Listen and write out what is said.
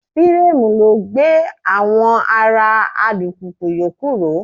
Fireemu ló gbé àwọn ara alùpùpù yòókù ró.